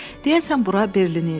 Deyəsən bura Berlin idi.